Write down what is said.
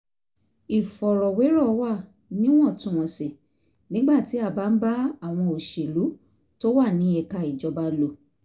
ìfọ̀rọ̀wérọ̀ wà níwọ̀ntúnwọ̀nsì nígbà tí a bá ń bá àwọn òṣèlú tó wà ní ẹ̀ka ìjọba lò